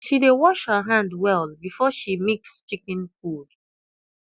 she dey wash her hand well before she mix chicken food